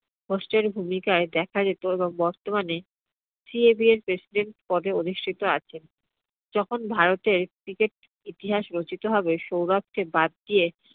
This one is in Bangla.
host এর ভূমিকাই দেখা যেত এবং বর্তমানে CAB এর president পদে অধিষ্ঠিত আছেন। যখন ভারতের cricket রচিত হবে সৌরভকে বাদ দিয়ে